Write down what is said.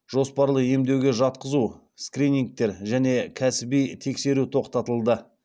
жоспарлы емдеуге жатқызу скринингтер және кәсіби тексеру тоқтатылды